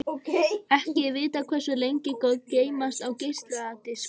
Ekki er vitað hversu lengi gögn geymast á geisladiskum.